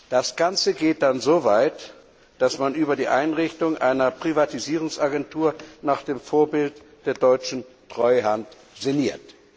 Das Ganze geht dann so weit, dass man über die Einrichtung einer Privatisierungs Agentur nach dem Vorbild der deutschen Treuhand sinniert.